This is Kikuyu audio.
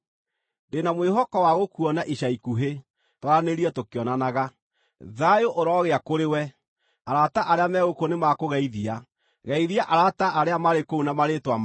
Ndĩ na mwĩhoko wa gũkuona ica ikuhĩ, twaranĩrie tũkĩonanaga. Thayũ ũroogĩa kũrĩwe. Arata arĩa me gũkũ nĩmakũgeithia. Geithia arata arĩa marĩ kũu na marĩĩtwa mao.